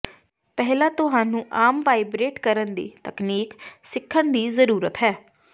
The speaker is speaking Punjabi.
ਪਹਿਲਾਂ ਤੁਹਾਨੂੰ ਆਮ ਵਾਈਬਰੇਟ ਕਰਨ ਦੀ ਤਕਨੀਕ ਸਿੱਖਣ ਦੀ ਜ਼ਰੂਰਤ ਹੈ